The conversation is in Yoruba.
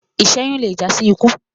iṣẹyun lẹ já sí ikú